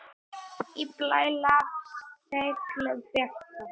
Í blæ lafir seglið bjarta.